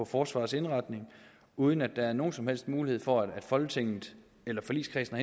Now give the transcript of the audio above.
forsvarets indretning uden at der er nogen som helst mulighed for at folketinget eller forligskredsen